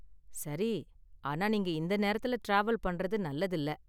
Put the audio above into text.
சரி. ஆனா நீங்க இந்த நேரத்துல டிராவல் பண்றது நல்லதில்ல.